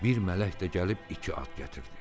Bir mələk də gəlib iki at gətirdi.